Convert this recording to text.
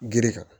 Girikan